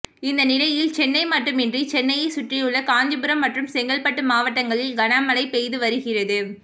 இந்த நிலையில் சென்னை மட்டுமன்றி சென்னையை சுற்றியுள்ள காஞ்சிபுரம் மற்றும் செங்கல்பட்டு மாவட்டங்களில் கனமழை பெய்து வருகிறது